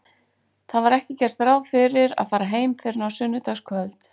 Það var ekki gert ráð fyrir að fara heim fyrr en á sunnudagskvöld.